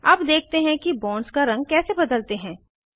अब देखते हैं कि बॉन्ड्स का रंग कैसे बदलते हैं